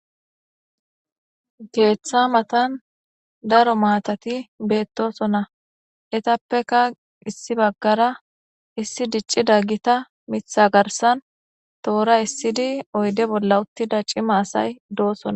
keeththa matan daro maatati beettosonna etappeka issi baggara issi dicci daggita mitha garsan toora issidi oyde bolla uttida cima asay doosona